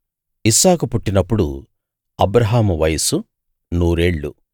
ఇస్సాకు పుట్టినప్పుడు అబ్రాహాము వయస్సు నూరేళ్ళు